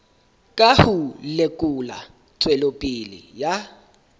ka ho lekola tswelopele ya